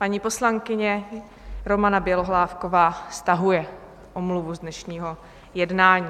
Paní poslankyně Romana Bělohlávková stahuje omluvu z dnešního jednání.